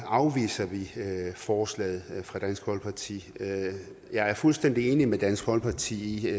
afviser vi forslaget fra dansk folkeparti jeg er fuldstændig enig med dansk folkeparti i